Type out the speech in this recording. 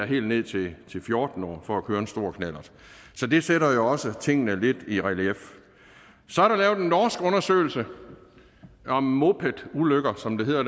helt ned til fjorten år for at køre en stor knallert så det sætter jo også tingene lidt i relief så er der lavet en norsk undersøgelse om moped ulykker som det hedder